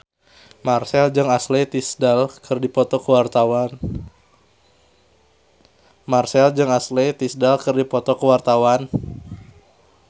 Marchell jeung Ashley Tisdale keur dipoto ku wartawan